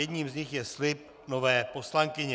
Jedním z nich je slib nové poslankyně.